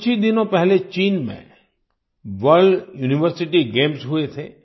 कुछ ही दिनों पहले चीन में वर्ल्ड यूनिवर्सिटी गेम्स हुए थे